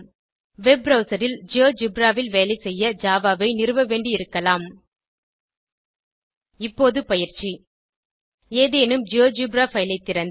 web browser ல் GeoGebra ல் வேலை செய்ய ஜாவா ஐ நிறுவவேண்டியிருக்கலாம் இப்போது பயிற்சி - ஏதேனும் ஜியோஜெப்ரா பைல் ஐ திறந்து